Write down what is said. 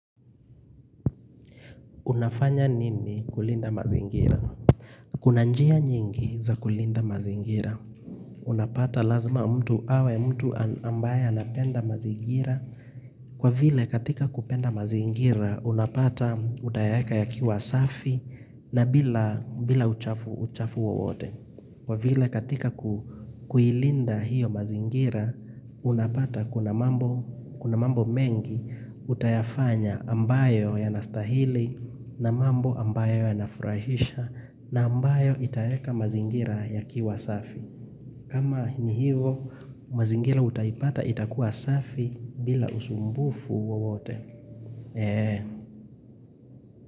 Unafanya nini kulinda mazingira? Kuna njia nyingi za kulinda mazingira. Unapata lazima mtu awe mtu ambaye anapenda mazingira. Kwa vile katika kupenda mazingira, unapata utayaka yakiwa safi na bila uchafu uchafu wo wote. Kwa vile katika kuilinda hiyo mazingira, unapata kuna mambo mengi utayafanya ambayo ya nastahili na mambo ambayo ya nafurahisha na ambayo itayeka mazingira ya kiwa safi. Kama hini hiyo, mazingira utayipata itakuwasafi bila usumbufu wowote.